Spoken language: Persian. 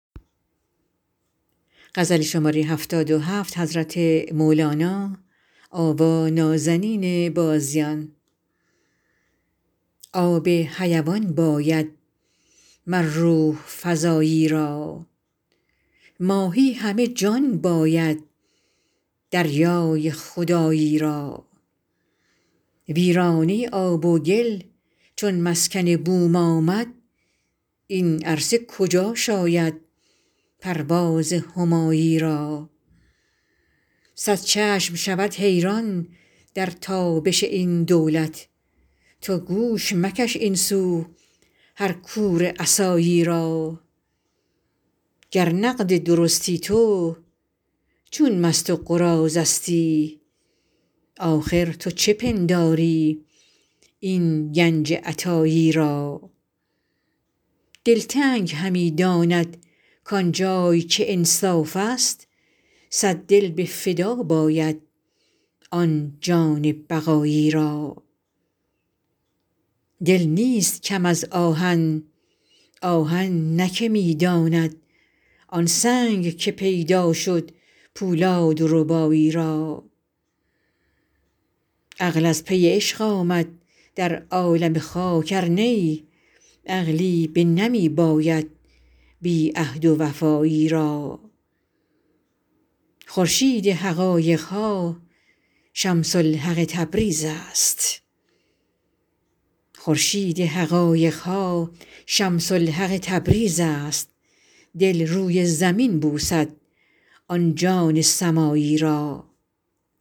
آب حیوان باید مر روح فزایی را ماهی همه جان باید دریای خدایی را ویرانه ی آب و گل چون مسکن بوم آمد این عرصه کجا شاید پرواز همایی را صد چشم شود حیران در تابش این دولت تو گوش مکش این سو هر کور عصایی را گر نقد درستی تو چون مست و قراضه ستی آخر تو چه پنداری این گنج عطایی را دلتنگ همی دانند کان جای که انصافست صد دل به فدا باید آن جان بقایی را دل نیست کم از آهن آهن نه که می داند آن سنگ که پیدا شد پولادربایی را عقل از پی عشق آمد در عالم خاک ار نی عقلی بنمی باید بی عهد و وفایی را خورشید حقایق ها شمس الحق تبریز است دل روی زمین بوسد آن جان سمایی را